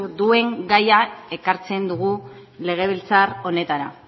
duen gaia ekartzen dugu legebiltzar honetara